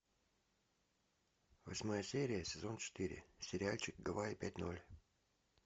восьмая серия сезон четыре сериальчик гавайи пять ноль